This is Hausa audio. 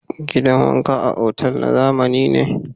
Gidan wanka a otal na zamani ne.